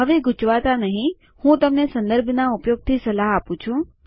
હવે ગુચવાતાં નહિ હું તમને સંદર્ભનાં ઉપયોગની સલાહ આપું છું